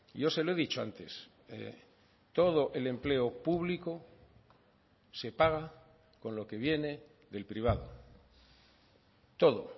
yo se lo he dicho antes todo el empleo público se paga con lo que viene del privado todo